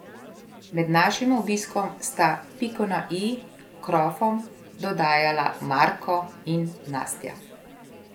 Med našim obiskom sta piko na i krofom dodajala Marko in Nastja.